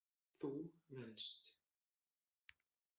Þú venst.